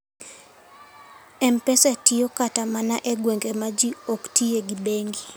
M-Pesa tiyo kata mana e gwenge ma ji ok tiye gi bengi.